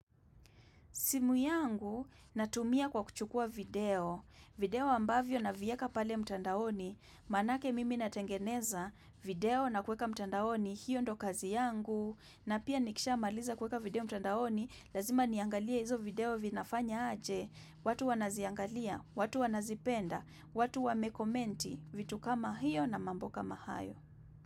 Simu yangu natumia kwa kuchukua video, video ambavyo na vieka pale mtandaoni, manake mimi natengeneza video na kweka mtandaoni, hiyo ndo kazi yangu, na pia nikisha maliza kweka video mtandaoni, lazima niangalia hizo video vinafanya aje, watu wanaziangalia, watu wanazipenda, watu wamekomenti, vitu kama hiyo na mambo kama hayo.